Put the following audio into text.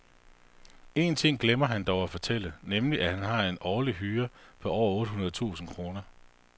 Én ting glemmer han dog at fortælle, nemlig at han har en årlig hyre på over otte hundrede tusinde kroner.